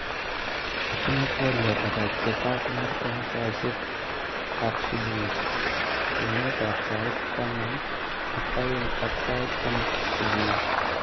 Atiny twoliot ata chekakonor eng saishekab subui, kwenetab sait tamab ak aeng ak sait somok subui